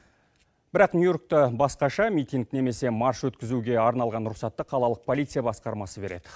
бірақ нью йоркта басқаша митинг немесе марш өткізуге арналған рұқсатты қалалық полиция басқармасы береді